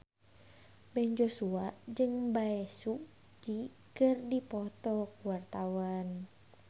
Ben Joshua jeung Bae Su Ji keur dipoto ku wartawan